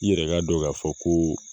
I yɛrɛ ka dɔ k'a fɔ koo